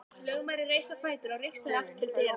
Lögmaðurinn reis á fætur og rigsaði í áttina til dyranna.